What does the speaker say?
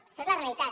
això és la realitat